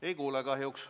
Ei kuule kahjuks.